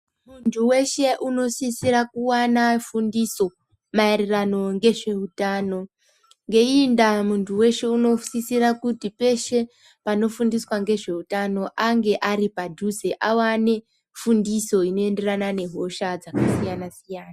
Muntu weshe unosisira kuwana fundiso maererano ngezveutano, ngeyiyi ndaa muntu weshe unosisira kuti peshe panofundiswa ngezveutano ange ari padhuze, awane fundiso inoyenderana nehosha dzakasiyana-siyana.